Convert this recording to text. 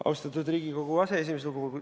Austatud Riigikogu aseesimees!